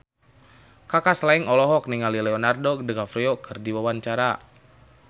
Kaka Slank olohok ningali Leonardo DiCaprio keur diwawancara